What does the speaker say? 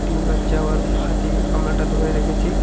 গামলাটা ধরে রেখেছি।